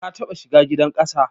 Ka taɓa shiga gidan ƙasa